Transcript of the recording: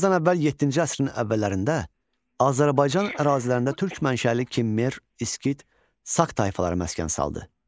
Eramızdan əvvəl yeddinci əsrin əvvəllərində Azərbaycan ərazilərində türk mənşəli Kimmer, İskit, Sak tayfaları məskən saldı.